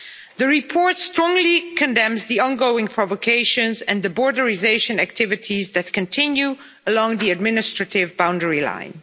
The report strongly condemns the ongoing provocations and the borderisation activities that continue along the administrative boundary line.